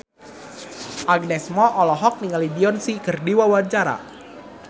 Agnes Mo olohok ningali Beyonce keur diwawancara